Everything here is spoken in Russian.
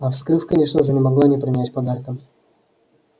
а вскрыв конечно уже не могла не принять подарка